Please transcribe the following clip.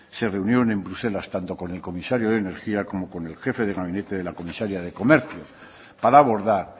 se reunieron en bruselas tanto con el comisario de energía como con el jefe de gabinete de la comisaria de comercio para abordar